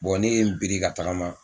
ne ye n biri ka tagama